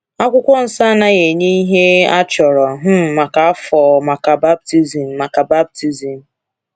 Akwụkwọ Nsọ anaghị enye ihe achọrọ um maka afọ maka baptizim. maka baptizim.